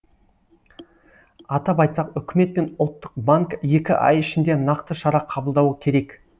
атап айтсақ үкімет пен ұлттық банк екі ай ішінде нақты шара қабылдауы керек